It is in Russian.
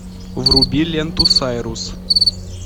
вруби ленту сайрус